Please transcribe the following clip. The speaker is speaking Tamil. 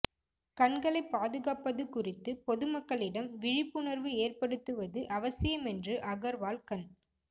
கண்களைப் பாதுகாப்பது குறித்து பொதுமக்களிடம் விழிப்புணர்வு ஏற்படுத்துவது அவசியம் என்று அகர்வால் கண்